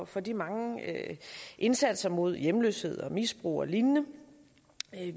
for de mange indsatser mod hjemløshed misbrug og lignende